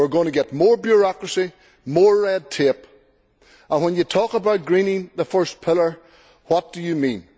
We are going to get more bureaucracy, more red tape and when you talk about greening the first pillar, what do you mean?